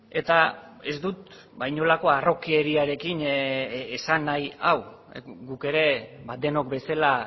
eta ez dut inolako harrokeriarekin esan nahi hau guk ere denok bezala